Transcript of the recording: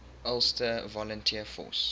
ulster volunteer force